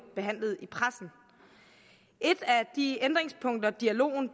behandlet af pressen et af de ændringspunkter dialogen